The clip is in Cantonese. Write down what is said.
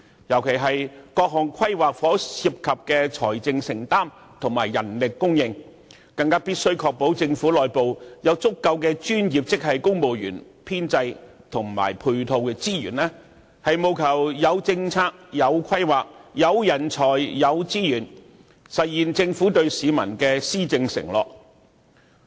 特別於各項規劃所涉及的財政承擔和人力供應，便更加必須確保政府內部有足夠的專業職系公務員編制和配套資源，務求有政策、有規劃、有人才、有資源，實現政府對市民的施政承諾。